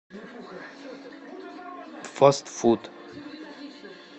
фастфуд